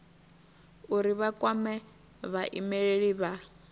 uri vha kwame vhaimeleli vha